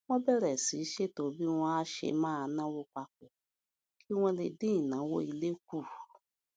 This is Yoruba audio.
wón bèrè sí í ṣètò bí wón á ṣe máa náwó papò kí wón lè dín ìnáwó ilé kù